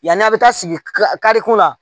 Yan'a bɛ taa sigi ka kari kunna na